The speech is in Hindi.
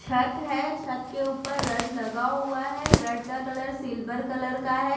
छत है छत के ऊपर रड लगा हुआ है रड का कलर सिल्वर कलर का है।